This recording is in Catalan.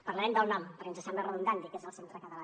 parlarem del nom perquè ens sembla redundant dir que és el centre català